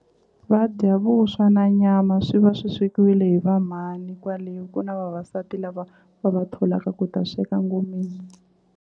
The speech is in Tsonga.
Va dya vuswa na nyama swi va swi swekiwile hi va mhani kwale ku na vavasati lava va va tholaka ku ta sweka ngomeni.